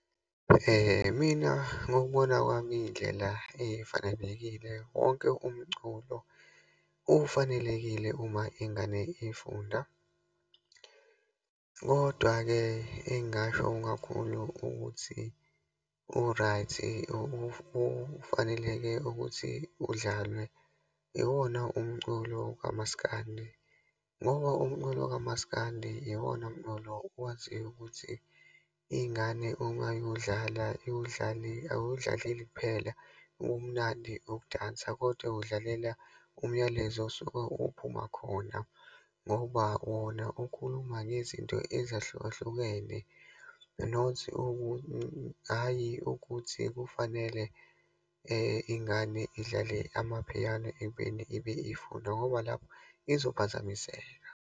Mina, ngokubona kwami iyindlela efanelekile. Wonke umculo ufanelekile uma ingane ifunda. Kodwa-ke, engingasho kakhulu ukuthi u-right, ufaneleke ukuthi udlalwe, iwona umculo kamaskandi. Ngoba umculo kamaskandi iwona mculo owaziyo ukuthi ingane uma iwudlala, iwudlale. Ayiwudlalaleli kuphela ubumnandi, nokudansa kodwa udlalela umyalezo osuke uphuma khona ngoba wona ukhuluma ngezinto ezahlukahlukene. Not hhayi, ukuthi kufanele ingane idlale amapiano ekubeni ibe ifunda, ngoba lapho izophazamiseka.